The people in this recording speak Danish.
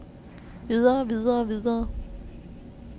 videre videre videre